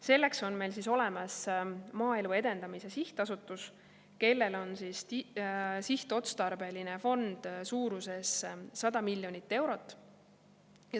Selleks on meil olemas Maaelu Edendamise Sihtasutus, kellel on sihtotstarbeline fond suuruses 100 miljonit eurot.